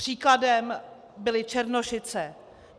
Příkladem byly Černošice.